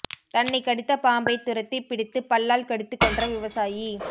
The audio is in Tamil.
தன்னைக் கடித்த பாம்பை துரத்தி பிடித்து பல்லால் கடித்து கொன்ற விவசாயி